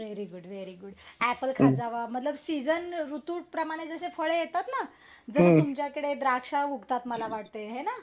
very good very good apple खात जावा मतलब सीजन ऋतूप्रमाणे जसे फळ येतात ना जस तुमच्याकडे द्राक्ष उगतात मला वाटय हेना